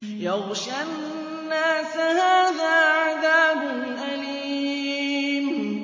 يَغْشَى النَّاسَ ۖ هَٰذَا عَذَابٌ أَلِيمٌ